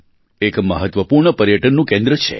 એક મહત્ત્વપૂર્ણ પર્યટનનું કેન્દ્ર છે